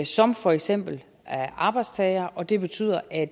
som for eksempel arbejdstager og det betyder at